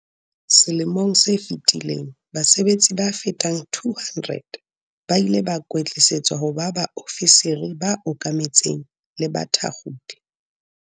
Selemong se fetileng base betsi ba fetang 200 ba ile ba kwetlisetswa ho ba baofisiri ba okametseng le bathakgodi.